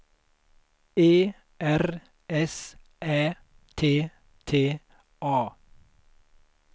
E R S Ä T T A